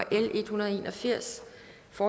få